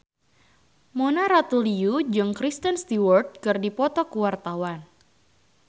Mona Ratuliu jeung Kristen Stewart keur dipoto ku wartawan